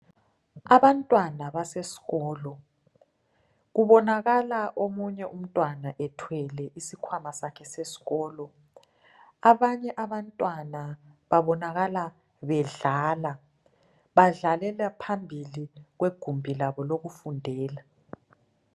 Abantwana basesikolo. Kubonakala omunye umntwana ethwele isikhwama sakhe sesikolo. Abanye abantwana babonakala bedlala. Badlalela phambili kwegumbi labo lokufundela.